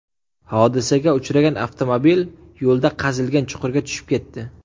Hodisaga uchragan avtomobil yo‘lda qazilgan chuqurga tushib ketdi.